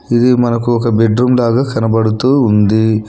ఇది మనకు ఒక బెడ్ రూమ్ లాగా కనబడుతూ ఉంది.